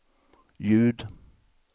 ljud